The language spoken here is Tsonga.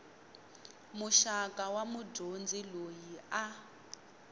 muxaka wa mudyondzi loyi a